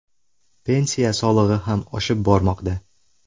Pensiya solig‘i ham oshib bormoqda.